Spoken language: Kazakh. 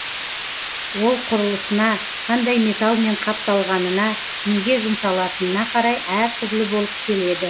ол құрылысына қандай металмен қапталғанына неге жұмсалатынына қарай әр түрлі болып келеді